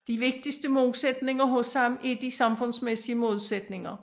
De vigtigste modsætninger hos ham er de samfundsmæssige modsætninger